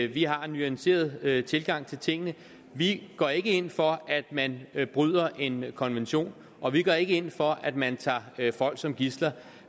vi har en nuanceret tilgang til tingene vi går ikke ind for at man bryder en konvention og vi går ikke ind for at man tager folk som gidsler